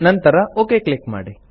ನಂತರ okay click ಮಾಡಿ